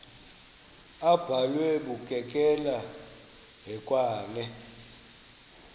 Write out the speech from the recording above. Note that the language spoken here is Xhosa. abhalwe bukekela hekwane